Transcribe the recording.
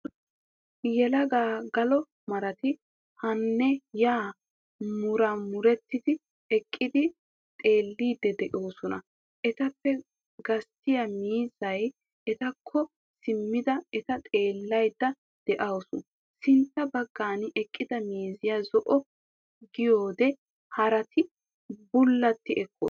Yelaga galo marati haanne yaa muraamuretti eqqidi xeelliidi de'oosona. Etappe gasttiya miizziya etakko simmada eta xeellaydda dawuse. Sintta baggan eqqida mariya zo'o gidiyode haraati bullati ekkoosona.